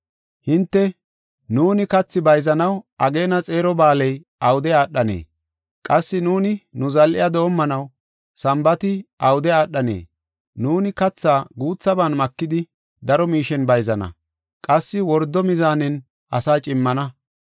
Hinte, “Nuuni kathaa bayzanaw ageena xeero ba7aaley awude aadhane! Qassi nuuni nu zal7iya doomanaw Sambaati awude aadhane! Nuuni kathaa guuthaban makidi, daro miishen bayzana. Qassi wordo mizaanen asaa cimmana.